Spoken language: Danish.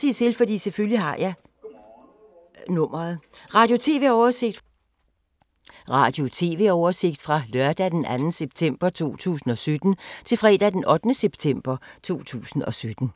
Radio/TV oversigt fra lørdag d. 2. september 2017 til fredag d. 8. september 2017